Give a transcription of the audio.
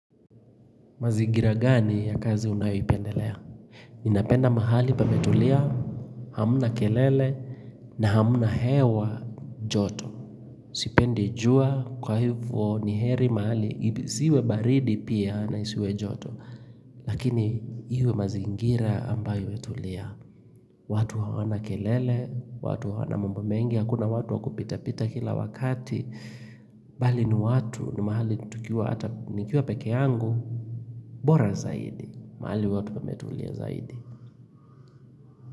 Mazingira gani ya kazi unayoipendelea? Ninapenda mahali pametulia, hamna kelele, na hamna hewa joto. Sipendi jua kwa hivo ni heri mahali, isiwe baridi pia na isiwe joto. Lakini iwe mazingira ambayo imetulia. Watu hawana kelele, watu hawana mambo mengi, hakuna watu wakupita pita kila wakati. Bali ni watu ni mahali tukiwa hata nikiwa peke yangu. Bora zaidi, mahali watu wametulia zaidi.